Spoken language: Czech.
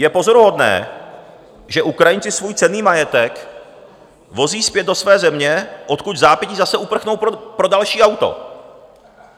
Je pozoruhodné, že Ukrajinci svůj cenný majetek vozí zpět do své země, odkud vzápětí zase uprchnou pro další auto.